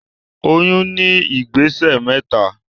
Oyún ní ìgbésẹ̀ mẹ́ta